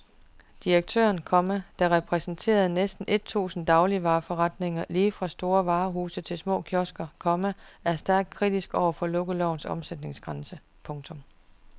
Direktøren, komma der repræsenterer næsten et tusind dagligvareforretninger lige fra store varehuse til små kiosker, komma er stærkt kritisk over for lukkelovens omsætningsgrænse. punktum